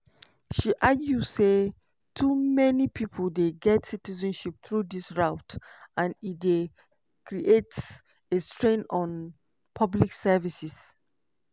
she argue say too many pipo dey get citizenship through dis route and e dey "create a strain on public services".